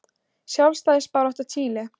Sjálfstæðisbarátta Chile.